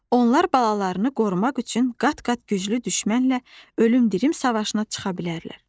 Onlar balalarını qorumaq üçün qat-qat güclü düşmənlə ölüm-dirim savaşına çıxa bilərlər.